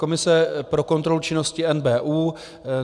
Komise pro kontrolu činnosti NBÚ.